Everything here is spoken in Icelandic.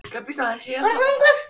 Hann horfir yfir